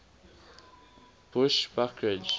bushbuckridge